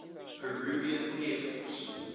peruvian air force